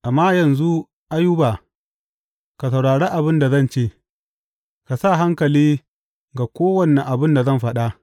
Amma yanzu, Ayuba, ka saurari abin da zan ce; ka sa hankali ga kowane abin da zan faɗa.